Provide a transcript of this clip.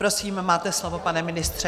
Prosím, máte slovo, pane ministře.